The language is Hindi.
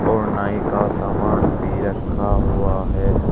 और नाई का सामान भी रखा हुआ है।